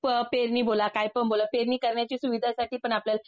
पेरणी बोला कायपण बोला पेरणीकरण्याच्या सुविधांसाठी आपल्याला